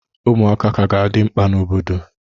Ụmụaka ka ga-adị mkpa n'obodo.